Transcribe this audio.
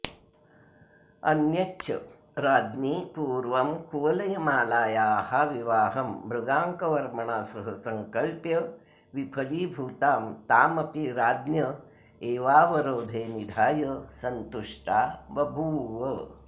अन्यच्च राज्ञी पूर्वं कुवलयमालायाः विवाहं मृगाङ्कवर्मणा सह संकल्प्य विफलीभूतां तामपि राज्ञ एवावरोधे निधाय सन्तुष्टा बभूव